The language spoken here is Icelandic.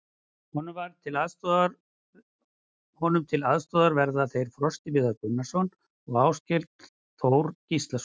Honum til aðstoðar verða þeir Frosti Viðar Gunnarsson og Áskell Þór Gíslason.